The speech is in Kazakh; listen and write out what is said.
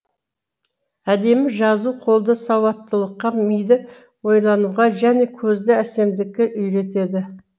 әдемі жазу қолды сауаттылыққа миды ойлануға және көзді әсемдікке үйретеді